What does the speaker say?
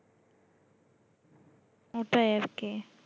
ওটাই আরকি